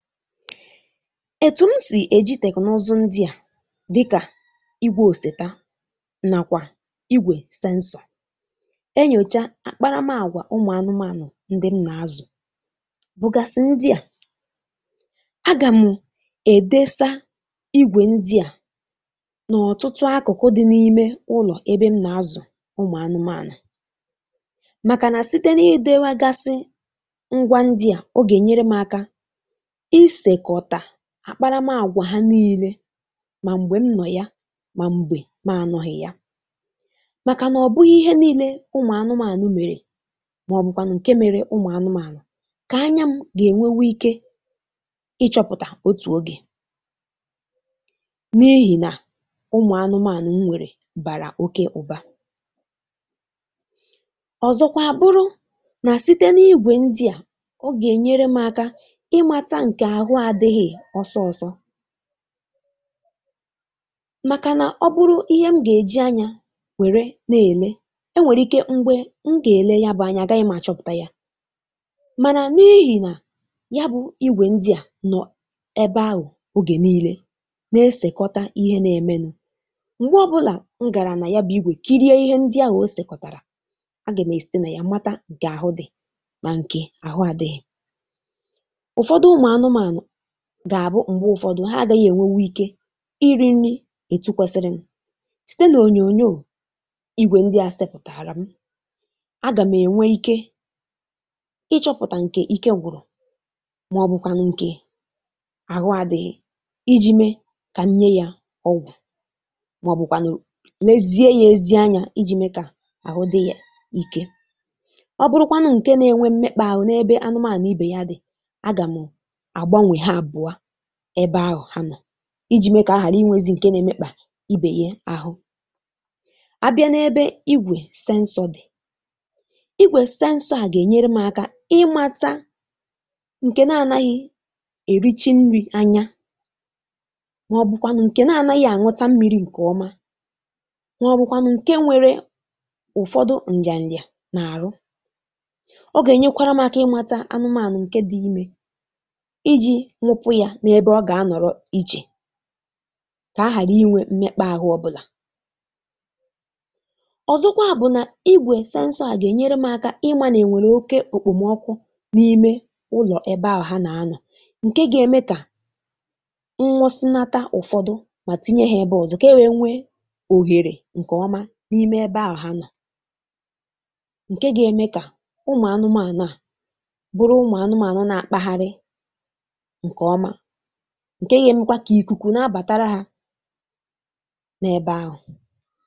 Etu m si e ji teknụụzụ ndị a dịka igwe oseta na igwe sensor enyocha akparamagwa ụmụ anụmanụ ndị m na-azụ bụgasị ndị a. A ga m edosa igwe ndị a n'ọtụtụ akụkụ dị n'ime ụlọ ebe m na-azụ ụmụ anụmanụ makana site n'idewagasị ngwá ndị a, ọ ga-enyere m aka isekọta akparamagwa ha niile ma mgbe m nọ ya ma mgbe ma anọghị ya. Makana ọ bụghị ihe niile ụmụ anụmanụ mere maọbụkwanụ nke mere ụmụ anụmanụ ka anya m ga-enwenwu ike ịchọpụta otu oge n'ihi na ụmụ anụmanụ m nwere bara oké ụba. Ọzọkwa a bụrụ na site n'ígwè ndi a, ọ ga-enyere m aka ịmata nke ahụ adịghị ọsọ ọsọ. Makana ọ bụrụ ihe m ga-eji anya were na-ele, e nwere ike mgbe m ga-ele ya bụ anya agaghị m achọpụta ya. Mana n'ihi na yabụ igwe ndị a nọ ebe ahụ oge niile na-esekọta ihe na-emenu, mgbe ọbụla m gara na ya bụ igwe kirie ihe ndị ahụ o sekọtara, a ga m esite na ya mara nke ahụ dị na nke ahụ adịghị. Ụfọdụ ụmụ anụmanụ ga-abụ mgbe ụfọdụ ha adịghị enwenwucike iri nri etu kwesịrịnụ. Site n'onyonyo ígwè ndị a sepụtaara m, a ga m enwe ike ịchọpụta nke ike gwụrụ maọbụkwanụ nke ahụ adịghị iji mee ka m nye ya ọgwụ maọbụkwanụ lezie ya ezi anya iji mee ka ahụ dị ya iké. Ọ bụrụkwanụ nke na-enwe mmekpaahụ n'ebe anụmanụ ube ya dị, a ga m agbanwe ha abụọ ebe ahụ ha nọ iji mee ka a ghara inwezi nke na-emekpa ibe ya ahụ. A bịa n'ebe ígwè sensor dị, ígwè sensor a ga-enyere m aka ịmata nke na-anaghị erichi nri anya maọbụkwanụ nke na-anaghị aṅụ́ta mmiri nke ọma maọbụkwanụ nke nwere ụfọdụ nrịanrịa n'ahụ. Ọ ga-enyekwara m aka ịmata anụmanụ nke dị ime iji nwụ́pụ ya n'ebe ọ ga-anọrọ iche ka a ghara inwe mmekpaahụ ọbụla. Ọzọkwa bụ na igwe sensor a na-enyere m aka ịma ma enwere oké ekpomọkụ n'ime ụlọ ebe ahụ ha na-anọ nke ga-eme ka m nwụsịnata ụfọdụ ma tinye ha ebe ọzọ ka e wee nwee ohere n'ime ebe ahụ ha nọ nke ga-eme ka ụmụ anụmanụ a bụrụ ụmụ anụmanụ na-akpagharị nke ọma nke ga-emekwa ka ikuku na-abatara ha n'ebe ahụ.